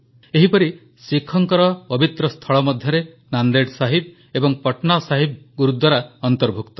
ଏହିପରି ଶିଖଙ୍କର ପବିତ୍ର ସ୍ଥଳ ମଧ୍ୟରେ ନାନ୍ଦେଡ଼ ସାହିବ ଏବଂ ପଟନା ସାହିବ ଗୁରୁଦ୍ୱାରା ଅନ୍ତର୍ଭୁକ୍ତ